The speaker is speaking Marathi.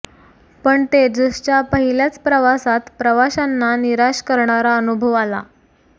पण तेजसच्या पहिल्याच प्रवासात प्रवाशांना निराश करणारा अनुभव आला